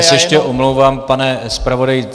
Já se ještě omlouvám, pane zpravodaji.